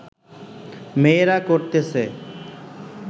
মেয়েরা করতেছে